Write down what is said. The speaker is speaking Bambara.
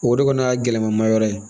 O de kɔni y'a gɛlɛma ma yɔrɔ ye